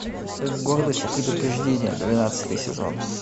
гордость и предубеждение двенадцатый сезон